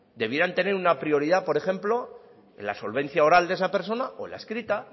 debieran tener una prioridad por ejemplo en la solvencia oral de esa persona o en la escrita